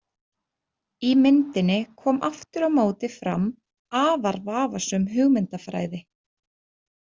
Í myndinni kom aftur á móti fram afar vafasöm hugmyndafræði.